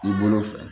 K'i bolo fɛ